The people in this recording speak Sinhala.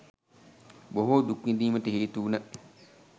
බොහෝ දුක් විඳීමට හේතු වුණ